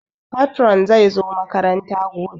Patron zai zo makaranta gobe